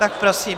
Tak prosím.